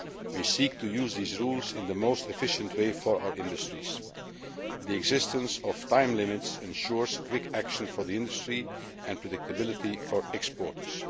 We seek to use these rules in the most efficient way for our industries. The existence of time limits ensures quick action for the industry and predictability for exporters.